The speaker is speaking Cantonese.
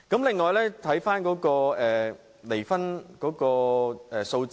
此外，我們看看離婚數字。